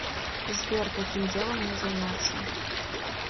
сбер каким делом мне заняться